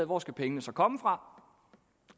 hvor skal pengene så komme fra